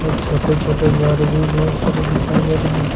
और छोटे छोटे घर भी बहुत सारे दिखाई दे रहे हैं।